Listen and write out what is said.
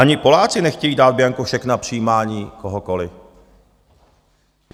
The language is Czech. Ani Poláci nechtějí dát bianko šek na přijímání kohokoliv.